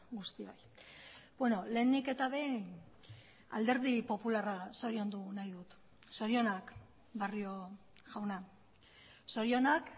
guztioi lehenik eta behin alderdi popularra zoriondu nahi dut zorionak barrio jauna zorionak